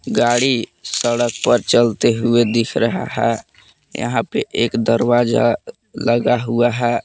गाड़ी सड़क पर चलते हुए दिख रहा है यहां पे एक दरवाजा लगा हुआ है।